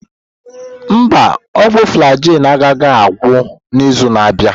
Mba, ọgwụ Flagyl agaghị agwụ n'izu na-abịa.